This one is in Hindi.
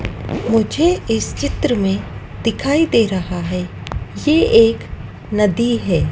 मुझे इस चित्र में दिखाई दे रहा है यह एक नदी है।